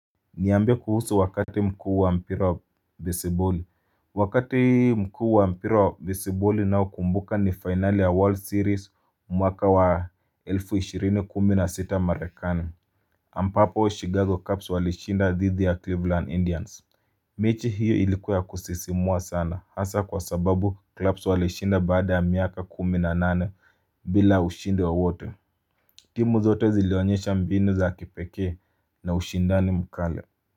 Niambie kuhusu wakati mkuu wa mpira wa besiboli. Wakati mkuu wa mpira wa besiboli ninayokumbuka ni finali ya World Series mwaka wa elfu ishirini kumi na sita marekani Ambapo Chicago Cups walishinda dhidhi ya Cleveland Indians. Mechi hiyo ilikuwa ya kusisimua sana hasa kwa sababu clubs walishinda baada ya miaka kumi na nane bila ushindi wowote. Timu zote zilionyesha mbinu za kipekee na ushindani mkale.